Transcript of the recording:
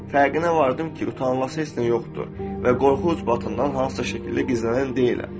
Fərqinə vardım ki, utanılacaq heç nə yoxdur və qorxu-utancından hansısa şəkildə gizlənən deyiləm.